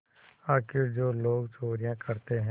आखिर जो लोग चोरियॉँ करते हैं